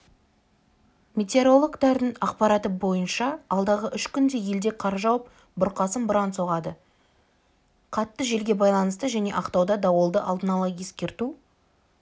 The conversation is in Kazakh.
метеорологтардың ақпараты бойынша алдағы үш күнде елде қар жауып бұрқасын бұран соғады қатты желге байланысты және ақтауда дауылды алдын ала ескерту